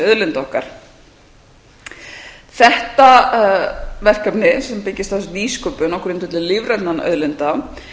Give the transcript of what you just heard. auðlinda okkar þetta verkefni sem byggist á þessari nýsköpun á grundvelli lífrænna auðlinda